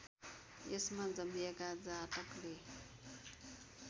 यसमा जन्मिएका जातकले